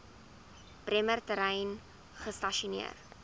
bremer terrein gestasioneer